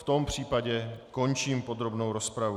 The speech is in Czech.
V tom případě končím podrobnou rozpravu.